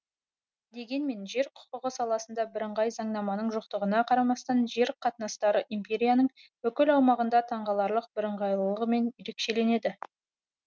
дегенмен жер құқығы саласында бірыңғай заңнаманың жоқтығына қарамастан жер қатынастары империяның бүкіл аумағында таңғаларлық бірыңғайлығымен ерекшеленді